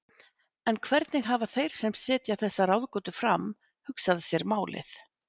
En hvernig hafa þeir sem setja þessa ráðgátu fram hugsað sér málið?